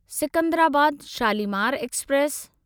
Secunderabad Shalimar express